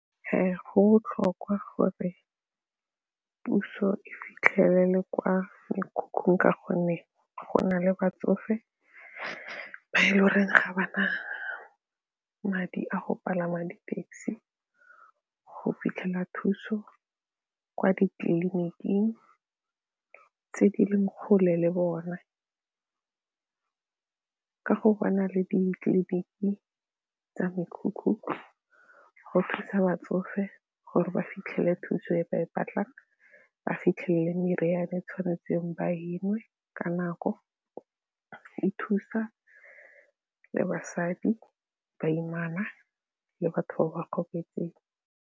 Go botlhokwa gore puso e fitlhelele kwa mekhukhung ka gonne go na le batsofe bare ga ba ba madi a go palama di-taxi go fitlhela thuso kwa ditleliniking tse di leng kgole le bone ka go ba na le ditleliniki tsa mekhukhu go thusa batsofe gore ba fitlhele thuso e ba e batlang, ba fitlhele le meriane e tshwanetseng ba e nwe ka nako, e thusa le basadi, baimana le batho ba ba gobetseng.